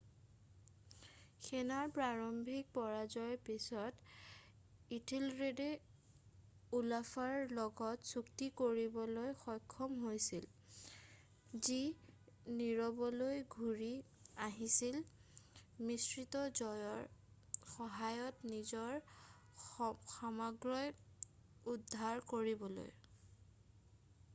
সেনাৰ প্ৰাৰম্ভিক পৰাজয়ৰ পিছত ইঠেলৰেডে ওলাফৰ লগত চুক্তি কৰিবলৈ সক্ষম হৈছিল যি নৰৱেলৈ ঘূৰি আহিছিল মিশ্ৰিত জয়ৰ সহায়ত নিজৰ সাম্ৰাজ্য উদ্ধাৰ কৰিবলৈ